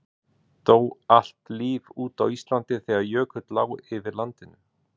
dó allt líf út á íslandi þegar jökull lá yfir landinu